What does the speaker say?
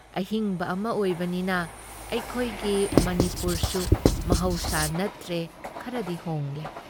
ꯑꯍꯤꯡꯕ ꯑꯃ ꯑꯣꯏꯕꯅꯤꯅ ꯑꯩꯈꯣꯏꯒꯤ ꯃꯅꯤꯄꯨꯔꯁꯨ ꯃꯍꯧꯁꯥ ꯅꯠꯇ꯭ꯔꯦ ꯈꯔꯗꯤ ꯍꯣꯡꯂꯦ ꯫